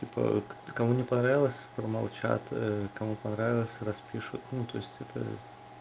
типа кому не понравилось промолчат кому понравилось распишут ну то есть это